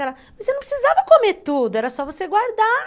Ela, mas você não precisava comer tudo, era só você guardar.